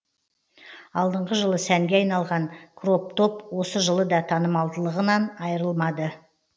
алдыңғы жылы сәнге айналған кроп топ осы жылы да танымалдылығынан айырылмады